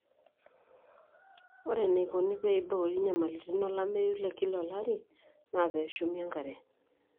ore eneikoni pee eiboori enyamalitin olameyu te kila olari naa pee eshumi enkare